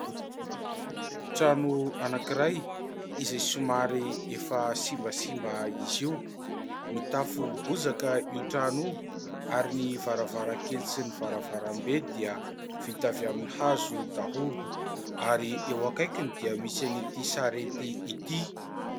Trano anankiray iray somary efa simbasimba izy io. Mitafo bozaka io trano io ary ny varavarankely sy ny varavarambe dia vita avy amin'ny hazo daholo ary eo akaikiny dia misy an'ity sarety ity.